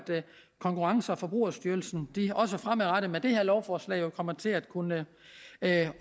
konkurrence og forbrugerstyrelsen også fremadrettet med det her lovforslag kommer til at kunne